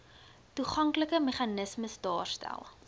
toeganklike meganismes daarstel